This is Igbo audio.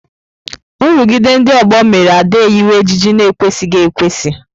Nrụgide ndị ọgbọ mere Ada eyiwe ejiji na-ekwesịghị ekwesị.